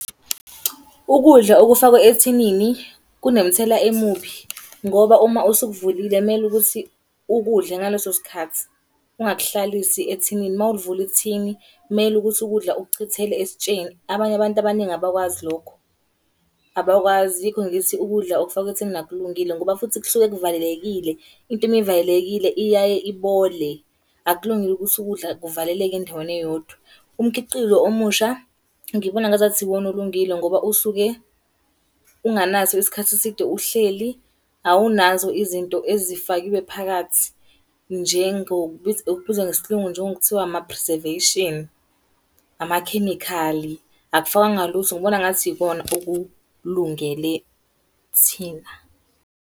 Ukudla okufakwe ethinini, kunomthelela omubi, ngoba uma usukuvulile kumele ukuthi ukudle ngaleso sikhathi. Ungakuhlalisi ethinini, uma ulivula ithini kumele ukuthi ukudla ukuchithele esitsheni, abanye abantu abaningi abakwazi lokho. Abakwazi yikho ngithi ukudla okufakwe ethinini akulungile, ngoba futhi kusuke kuvalelekile. Into uma ivalelekile iyaye ibole. Akulungile ukuthi ukudla kuvaleleke endaweni eyodwa. Umkhiqizo omusha ngibona ngazathi iwona olungile ngoba usuke unganaso isikhathi eside. Uhleli awunazo izinto ezifakiwe phakathi, kubizwa ngesilungu njengokuthiwa ama-preservation. Amakhemikhali, akufakwanga lutho ngibona ngathi ikona okulungele thina.